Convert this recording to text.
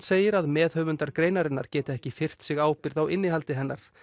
segir að meðhöfundar greinarinnar geti ekki firrt sig ábyrgð á innihaldi hennar